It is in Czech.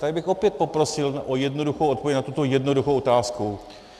Tady bych opět poprosil o jednoduchou odpověď na tuto jednoduchou otázku.